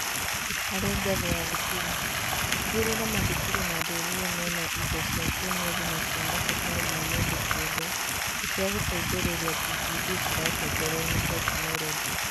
Harĩ ngathĩ ya thukuru: tigĩrĩra mathukuru na ndũrĩrĩ mena indo indo cia kĩĩmwĩrĩ na cia mabataro ma mũndũ kĩũmbe cia gũteithĩrĩria TPD ciratongorio ni tekinoronjĩ.